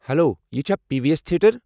Hello, یہِ چھا P V S theatre?